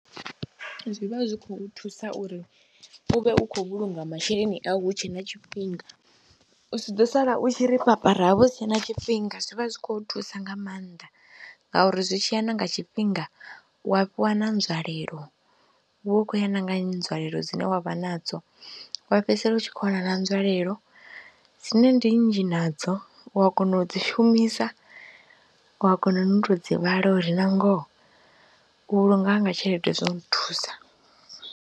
Zwi vha zwi khou thusa uri u vhe u khou vhulunga masheleni au hu tshe na tshifhinga, u si ḓo sala u tshi ri papara ha vha hu si tshe na tshifhing, a zwi vha zwi khou thusa nga maanḓa ngauri zwi tshi ya na nga tshifhinga u wa fhiwa na nzwalelo. U vha u khou ya na nga nzwalelo dzine wa vha nadzo wa fhedzisela u tshi khou wana na nzwalelo dzine ndi nnzhi nadzo, u a kona u dzi shumisa, wa kona no u tou dzi vhala uri na ngoho u vhulunga hanga tshelede zwo nthusa.